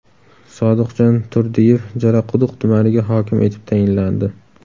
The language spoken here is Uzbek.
Sodiqjon Turdiyev Jalaquduq tumaniga hokim etib tayinlandi.